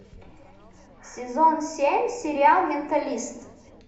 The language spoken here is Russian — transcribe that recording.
сезон семь сериал менталист